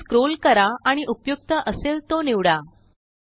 खालीस्क्रोल करा आणिउपयुक्त असेल तो निवडा